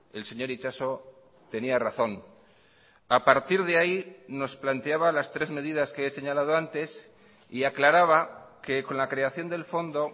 el señor itxaso tenía razón a partir de ahí nos planteaba las tres medidas que he señalado antes y aclaraba que con la creación del fondo